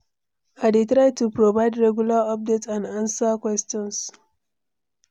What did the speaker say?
I dey try to provide regular updates and answer questions.